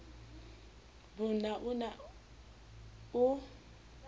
b na o ne o